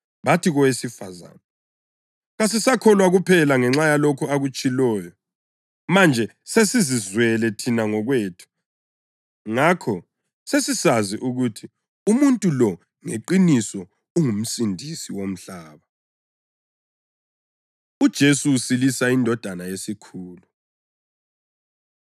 Bathi kowesifazane, “Kasisakholwa kuphela ngenxa yalokho okutshiloyo; manje sesizizwele thina ngokwethu, ngakho sesisazi ukuthi umuntu lo ngeqiniso unguMsindisi womhlaba.” UJesu Usilisa Indodana Yesikhulu